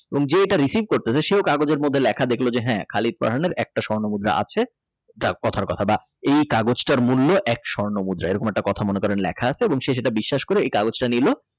এবং যেটা Receive করতাছে সেও কাগজের মধ্যে লেখা দেখল যে হ্যা খালিদ ফারহান এর একটি স্বর্ণ মুদ্রা আছে একটা কথার কথা বা এই কাগজটির মূল্য এক স্বর্ণমুদ্রা এরকম কথা একটা কথা মনে করেন লেখা আছে সেটা বিশ্বাস করে এই কাগজটা নিলো।